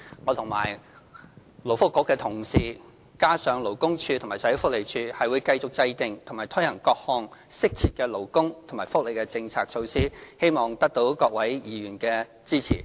我和勞工及福利局的同事，並聯同勞工處和社會福利署，將繼續制訂和推行各項適切的勞工及福利政策措施，希望得到各位議員的支持。